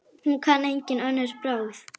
Hún kann engin önnur brögð.